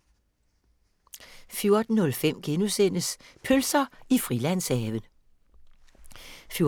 14:05: Pølser i Frilandshaven * 14:35: